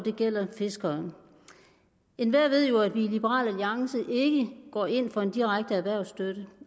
fiskere enhver ved jo at vi i liberal alliance ikke går ind for en direkte erhvervsstøtte